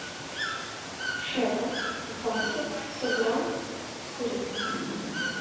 шеба в банке сто грамм с курицей